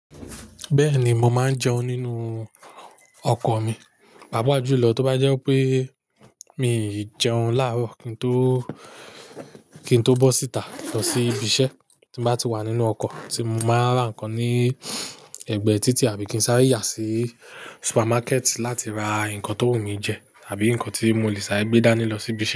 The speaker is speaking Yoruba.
Bẹ́ẹ̀ni, mo máa ń jẹun nínú ọkọ̀ mi, pàápàá jùlọ tó bá jẹ́ pé mi ò jẹun láàárọ̀ kí n tó, kí n tó bọ́ síta lọ sí ibi iṣẹ́. Tí bá ti wà nínú ọkọ̀, tí mo bá rà nǹkan ní ẹ̀gbẹ́ títì àbí kí n sáì rí yà sí supermarket láti ra nǹkan tó wù mí jẹ àbí nǹkan tí mo le sá gbé dání lọ sí ibi iṣẹ́